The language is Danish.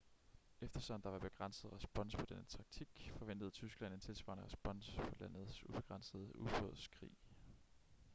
eftersom der var begrænset respons på denne taktik forventede tyskland en tilsvarende respons på landets ubegrænsede ubådskrig